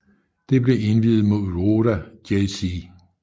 Det blev indviet mod Roda JC